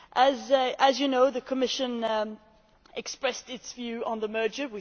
As you know, the Commission expressed its view on the merger.